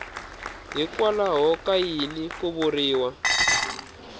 hikwalaho ka yini ku vuriwa